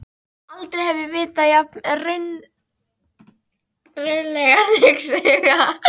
Aldrei hef ég vitað jafn rausnarlegan huga.